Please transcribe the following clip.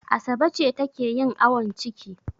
Asabe ce take yin awon ciki.